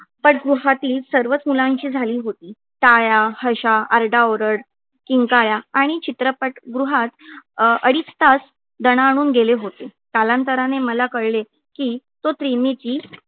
पट गृहातली सर्वच मुलांची झाली होती. टाळ्या हशा आरडाओरड किंकाळ्या आणि चित्रपट गृहात अडीच तास दणाणून गेले होते. कालांतराने मला कळले की तो मी ची